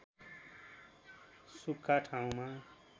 सुख्खा ठाउँमा